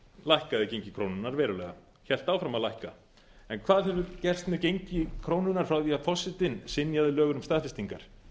lækkaði gengi krónunnar verulega hélt áfram að lækka en hvað hefur gerst með gengi krónunnar frá því að forsetinn synjaði lögunum staðfestingar